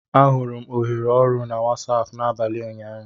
Ahụrụ m ohere ọrụ na Wasapụ n'abalị ụnyaahụ